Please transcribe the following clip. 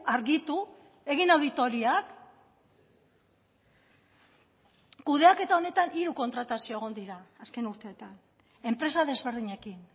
argitu egin auditoriak kudeaketa honetan hiru kontratazio egon dira azken urteetan enpresa desberdinekin